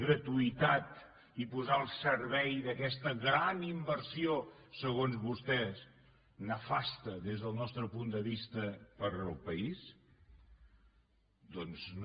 gratuïtat i posar al servei d’aquesta gran inversió segons vostès nefasta des del nostre punt de vista per al país doncs no